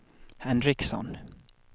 Henriksson